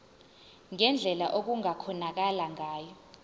ngendlela okungakhonakala ngayo